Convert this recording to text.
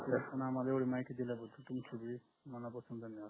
एवढी माहिती दिल्या बद्दल तुमची भी मनापासून धन्यवाद